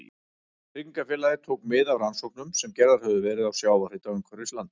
Tryggingafélagið tók mið af rannsóknum sem gerðar höfðu verið á sjávarhita umhverfis landið.